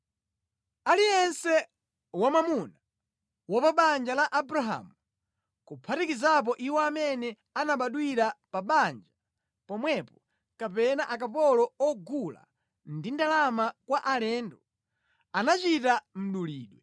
Aliyense wamwamuna wa pa banja pa Abrahamu, kuphatikizapo iwo amene anabadwira pa banja pomwepo kapena akapolo ogula ndi ndalama kwa alendo, anachita mdulidwe.